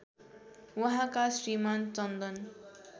उहाँका श्रीमान चन्दन